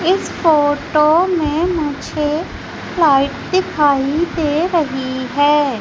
इस फोटो मे मुझे लाइट दिखाई दे रही है।